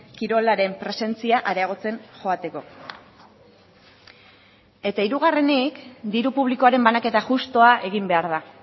kirolaren presentzia areagotzen joateko eta hirugarrenik diru publikoaren banaketa justua egin behar da